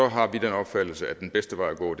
har vi den opfattelse at den bedste vej at gå